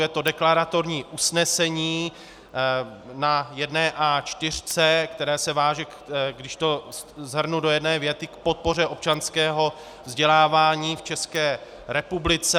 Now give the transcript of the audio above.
Je to deklaratorní usnesení, na jedné A4, které se váže, když to shrnu do jedné věty, k podpoře občanského vzdělávání v České republice.